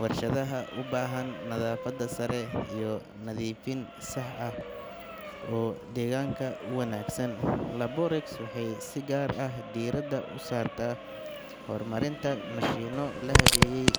warshadaha u baahan nadaafad sare iyo nadiifin sax ah oo deegaanka u wanaagsan. Laborex waxay si gaar ah diiradda u saartaa horumarinta mashiinno la habeeyey